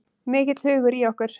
Mikill hugur í okkur